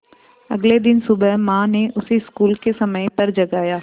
अगले दिन सुबह माँ ने उसे स्कूल के समय पर जगाया